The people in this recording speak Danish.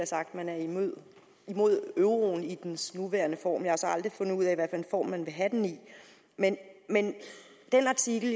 sagt at man er imod imod euroen i dens nuværende form men jeg har så aldrig fundet ud af hvad for en form man vil have den i men den artikel